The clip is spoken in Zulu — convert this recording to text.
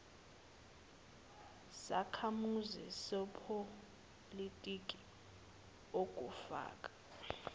sakhamuzi sepolitiki okufaka